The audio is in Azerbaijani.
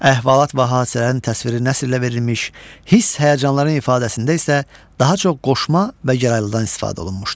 Əhvalat və hadisələrin təsviri nəsrlə verilmiş, hiss-həyəcanların ifadəsində isə daha çox qoşma və gəraylıdan istifadə olunmuşdur.